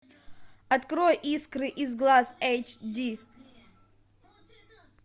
открой искры из глаз эйч ди